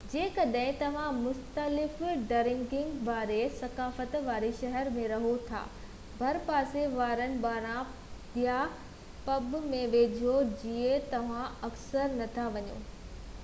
جيڪڏهن توهان مختلف ڊرنڪنگ واري ثقافت واري شهر ۾ رهو ٿا ڀرپاسي وارن بارن يا پب ۾ وڃو جتي توهان اڪثر نٿا وڃو